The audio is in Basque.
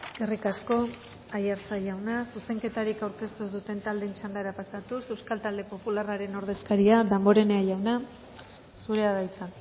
eskerrik asko aiartza jauna zuzenketarik aurkeztu ez duten taldeen txandara pasatuz euskal talde popularraren ordezkaria damborenea jauna zurea da hitza